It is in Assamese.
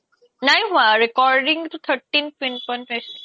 নাই হুৱা calling তো thirteen ten point পাইছিলে